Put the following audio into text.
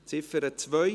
Ziffer 2: